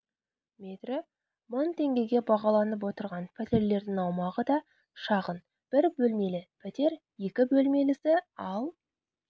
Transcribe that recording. метрі мың теңгеге бағаланып отырған пәтерлердің аумағы да шағын бір бөлмелі пәтер екі бөлмелісі ал